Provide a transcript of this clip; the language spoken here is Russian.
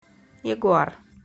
ягуар